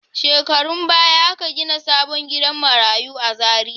Shekarun baya aka gina sabon gidan marayu a Zariya.